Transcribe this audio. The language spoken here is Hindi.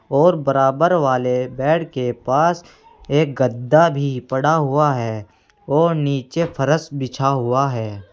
और बराबर वाले बेड के पास एक गद्दा भी पड़ा हुआ है और नीचे फर्श बिछा हुआ है।